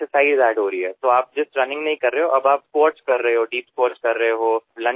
आपण केवळ धावत नसता तर कचरा उचलतानास्क्वॉट्स करता दीप स्क्वॉट्स करता लंजेस करता फॉरवर्ड बेंट करता